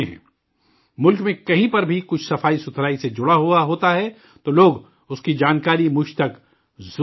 ملک میں کہیں پر بھی کچھ صفائی سے جڑا ہوا ہوتا ہے تو لوگ اس کی جانکاری مجھ تک ضرور پہنچاتے ہیں